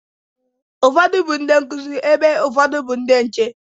Ụfọdụ bụ ndị nkụzi, ebe ụfọdụ bụ ndị nche.